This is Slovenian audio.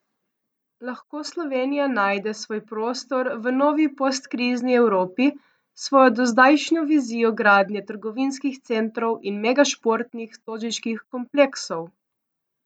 Lahko Slovenija najde svoj prostor v novi postkrizni Evropi s svojo dozdajšnjo vizijo gradnje trgovinskih centrov in megašportnih stožiških kompleksov?